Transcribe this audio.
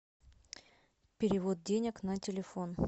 перевод денег на телефон